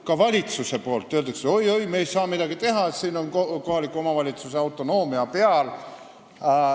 Ka valitsuses öeldakse, et oi-oi, me ei saa midagi teha, siin on kohaliku omavalitsuse autonoomia.